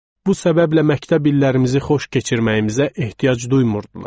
Bu səbəblə məktəb illərimizi xoş keçirməyimizə ehtiyac duymurdular.